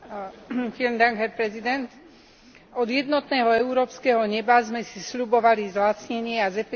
Od jednotného európskeho neba sme si sľubovali zlacnenie a zefektívnenie leteckej dopravy pre občanov.